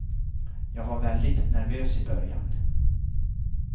Jag var väldigt nervös i början.